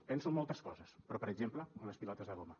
penso en moltes coses però per exemple en les pilotes de goma